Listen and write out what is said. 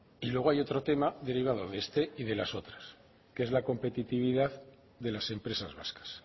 y luego hay otro tema derivado de este y de las otras que es la competitividad de las empresas vascas